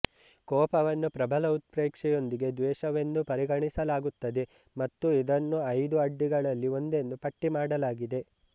ಕೋಪವನ್ನು ಪ್ರಬಲ ಉತ್ಪ್ರೇಕ್ಷೆಯೊಂದಿಗೆ ದ್ವೇಷವೆಂದು ಪರಿಗಣಿಸಲಾಗುತ್ತದೆ ಮತ್ತು ಇದನ್ನು ಐದು ಅಡ್ಡಿಗಳಲ್ಲಿ ಒಂದೆಂದು ಪಟ್ಟಿಮಾಡಲಾಗಿದೆ